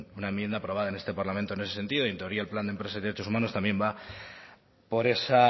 una enmienda aprobada en este parlamento en ese sentido y en teoría el plan de empresas de derechos humanos también va por esa